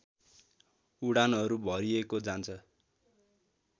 उडानहरू भरिएको जान्छ